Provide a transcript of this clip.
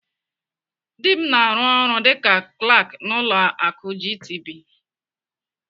Dị m na-arụ ọrụ dịka Klak n'ụlọ akụ GTB.